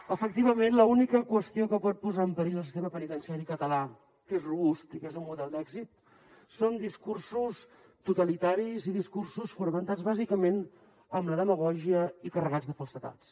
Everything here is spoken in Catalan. efectivament l’única qüestió que pot posar en perill el sistema penitenciari català que és robust i que és un model d’èxit són discursos totalitaris i discursos fonamentats bàsicament en la demagògia i carregats de falsedats